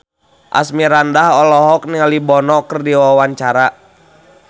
Asmirandah olohok ningali Bono keur diwawancara